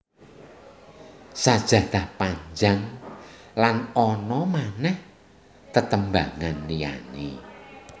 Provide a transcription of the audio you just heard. Sajadah Panjang lan ana manèh tetembangan liyané